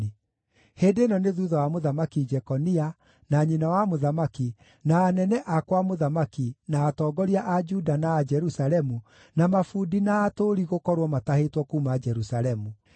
(Hĩndĩ ĩno nĩ thuutha wa Mũthamaki Jekonia, na nyina wa mũthamaki, na anene a kwa mũthamaki, na atongoria a Juda na a Jerusalemu, na mabundi na atũũri gũkorwo matahĩtwo kuuma Jerusalemu.)